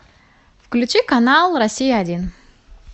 включи канал россия один